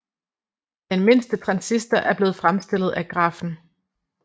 Den mindste transistor er blevet fremstillet af grafen